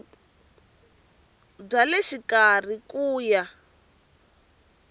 bya le xikarhi ku ya